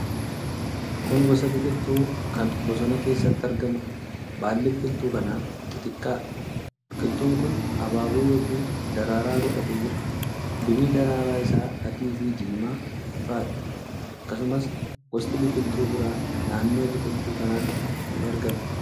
Kun gosa biqiltuu kan bosona keessatti argamuudha. Baalli biqiltuu kanaa xixiqqaadha. Biqiltuun kun abaaboo yookiin daraaraa godhatee jira. Bifni daraaraa isaa adii fi diimaa ifaadha. Akkasumas, gosti biqiltuu biraa naannoo biqiltuu kanaatti ni argamu.